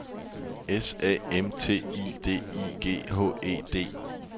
S A M T I D I G H E D